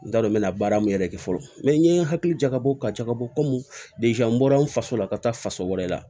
N t'a dɔn n mɛ na baara min yɛrɛ kɛ fɔlɔ n ye n hakili jagabɔ ka jakabɔ kɔmi n bɔra n faso la ka taa faso wɛrɛ la